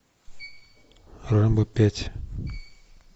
рэмбо пять